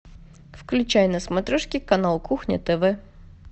включай на смотрешке канал кухня тв